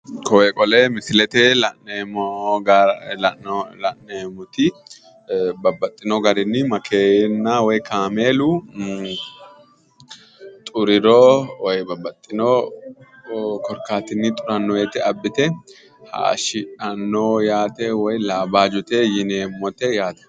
Koye qole misilete la’neemmoti babbaxitino garinni makeenna woyi kaameelu xuriro woyi babbaxino korkaatinni xuranno woyiite abbite haayishidhanno yaate woy laabaajote yneemmote yaate.